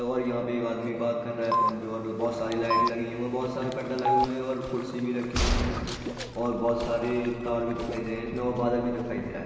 और यहां पे एक आदमी बात कर रहा है फ़ोन पे और बहोत सारी लाइट लगी हुई है और बहोत सरे पर्दा हुए लगे हुए है और कुर्सी भी रखी हुयी है और बहोत सारे तार भी दिखाई दे रहे है इसमें और बादल भी दिखाई दे रहा है।